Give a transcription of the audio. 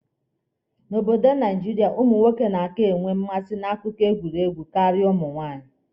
N'obodo Naijiria, ụmụ nwoke na-aka enwe mmasị na akụkọ egwuregwu karịa ụmụ nwaanyị.